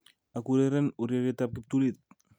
Akureren ureriet ab kiptulit